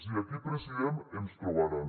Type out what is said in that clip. i aquí president ens trobaran